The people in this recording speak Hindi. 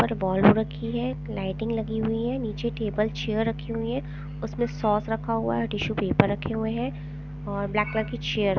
ऊपर बॉल रखी हैं लाइटिंग लगी हुई हैं नीचे टेबल चेयर रखी हुई हैं उसमें सॉस रखा हुआ हैं टिशू पेपर रखे हुए हैं और ब्लैक कलर की चेयर ----